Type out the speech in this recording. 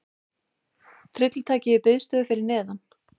Tryllitækið í biðstöðu fyrir neðan.